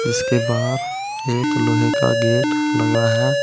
इसके बाहर एक लोहे का गेट लगा है।